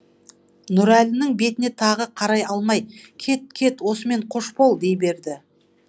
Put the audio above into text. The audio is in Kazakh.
нұрәлінің бетіне тағы қарай алмай кет кет осымен қош бол дей берді